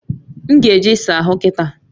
M ga eje isa ahu kita